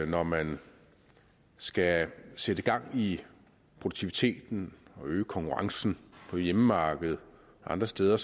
når man skal sætte gang i produktiviteten og øge konkurrencen på hjemmemarkedet og andre steder